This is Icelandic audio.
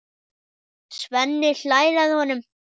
Svenni hlær að honum.